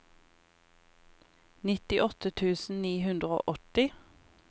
nittiåtte tusen ni hundre og åtti